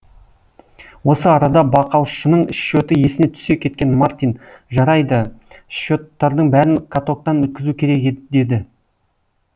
осы арада бақалшының счеты есіне түсе кеткен мартин жарайды счеттардың бәрін катоктан өткізу керек еді деді